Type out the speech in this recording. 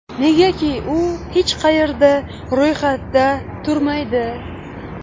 Negaki, u hech qayerda ro‘yxatda turmaydi.